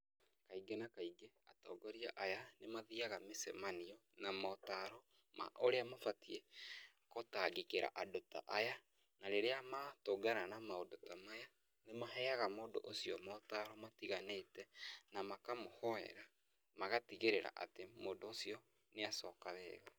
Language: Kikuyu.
Kaingĩ na kaingĩ atongoria aya nĩmathiaga mĩcemanio namotaro ma ũrĩa mabatiĩ gũtangĩkĩra andũ ta aya, rĩrĩa matũngana na maũndũ ta maya nĩmaheaga mũndũ ũcio motaro matiganĩte makamũhoera ,magatigĩrĩra atĩ mũndũ ũcio nĩyacoka wega.